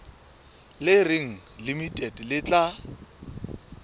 le reng limited le tla